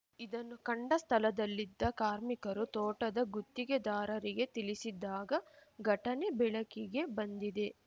ಇದನ್ನು ಕಂಡ ಸ್ಥಳದಲ್ಲಿದ್ದ ಕಾರ್ಮಿಕರು ತೋಟದ ಗುತ್ತಿಗೆದಾರರಿಗೆ ತಿಳಿಸಿದಾಗ ಘಟನೆ ಬೆಳಕಿಗೆ ಬಂದಿದೆ